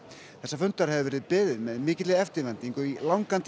þessa fundar hefur verið beðið með mikilli eftirvæntingu